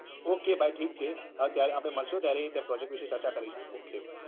okay ભાઈ ઠીક છે હવે ત્યારે આપડે મળશું ત્યારે project વિષે ચર્ચા કરીશું. okay bye.